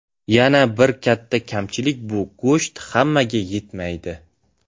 Yana bir katta kamchilik bu go‘sht hammaga yetmaydi.